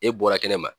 E bɔra kɛnɛ ma